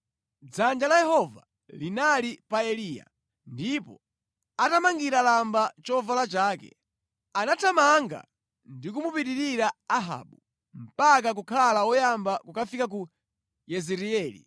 Dzanja la Yehova linali pa Eliya ndipo atamangira lamba chovala chake, anathamanga ndi kumupitirira Ahabu mpaka kukhala woyamba kukafika ku Yezireeli.